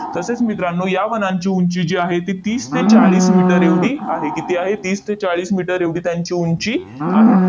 तसेच मित्रांनो, या वनांची उंची जी आहे, ती तीस ते चाळीस मीटर एवढी आहे. किती आहे? तीस ते चाळीस मीटर एवढी त्यांची उंची आहे.